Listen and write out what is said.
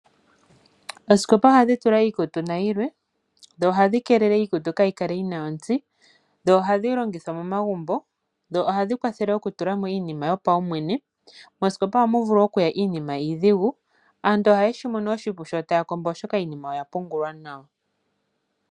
Osikopa ohadhi tulwa iikutu nayilwe. Ohadhi kelele iikutu ka yikale notsi. Ohadhi longithwa momagubo ohadhi kwathela iinima yopaumwe. Moskopa ohamu vulu okuya iinima iidhigu. Aantu ohaye shimono oshipu sho taya opaleke oshoka iinima oya pungulwa nawa.